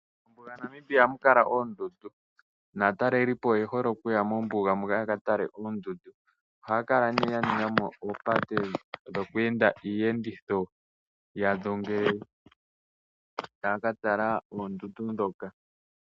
MoNamibia ohamu kala oondundu, naatalelipo oye hole okuya mombuga moka ya ka tale oondundu. Ohaya kala ne ya ninga mo oopate dhoku enda iiyenditho yawo ngele taya ka tala oondundu ndhoka.